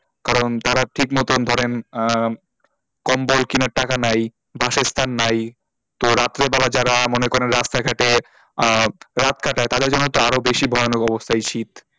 কারণ তারা ঠিক মতন ধরেন আহ কম্বল কেনার টাকা নেই বাসস্থান নেই তো রাত্রিবেলা যারা মনে করেন রাস্তা ঘাটে আহ রাত কাটাই তাদের জন্য তো আরও বেশি ভয়ানক অবস্থা এই শীত,